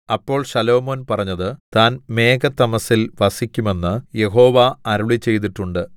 അപ്പോൾ ശലോമോൻ പറഞ്ഞത് താൻ മേഘതമസ്സിൽ വസിക്കുമെന്ന് യഹോവ അരുളിച്ചെയ്തിട്ടുണ്ട്